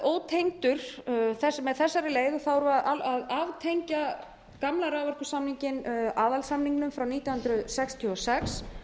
ótengdur með þessari leið erum við að aftengja gamla raforkusamninginn aðalsamningnum frá nítján hundruð sextíu og sex